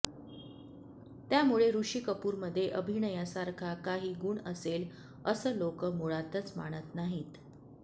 त्यामुळे ऋषी कपूरमधे अभिनयासारखा काही गुण असेल असं लोक मुळातच मानत नाहीत